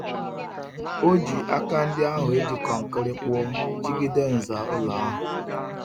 O ji aka ndi ahu e ji konkiri kpuo jigide nza ulo ahu.